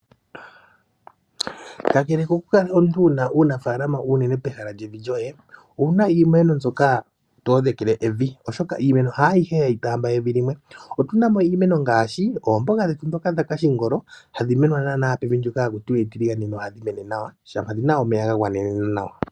Kakele kokukala omuntu wu na uunafala uunene pehala lyevi lyoye, owu na iimeno mbyoka to odhekele evi, oshoka iimeno haayihe hayi taamba evi limwe. Otu na mo iimeno ngaashi oomboga dhetu ndhoka dhakashingolo hadhi menwa naanaa pevi ndyoka haku tiwa etiligane nohadhi mene nawa, shampa dhi na omeya ga gwanenena nawa.